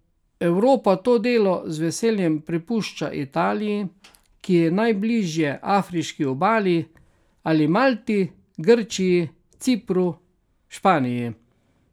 Evropa to delo z veseljem prepušča Italiji, ki je najbliže afriški obali, ali Malti, Grčiji, Cipru, Španiji.